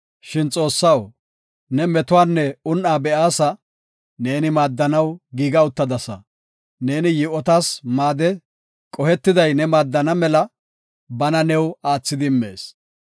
Shin Xoossaw, ne metuwanne un7aa be7aasa; neeni maaddanaw giiga uttadasa. Neeni yi7otas maade, qohetiday ne maaddana mela bana new aathidi immees.